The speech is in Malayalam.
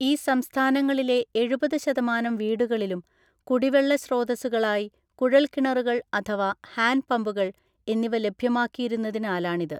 ഈ സംസ്ഥാനങ്ങളിലെഎഴുപത് ശതമാനം വീടുകാളിലും കുടിവെള്ള സ്രോതസ്സുകളായി കുഴൽക്കിണറുകൾ അഥവാ ഹാൻഡ് പമ്പുകൾ എന്നിവ ലഭ്യമാക്കിയിരുന്നതിനാലാണിത്.